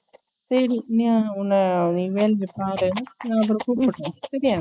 சேரி நீ உன்ன நீ வேல பாரு நான் அப்பறம் கூப்பிடுறேன் சேரியா